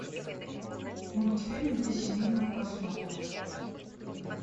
мультфильм для семейного просмотра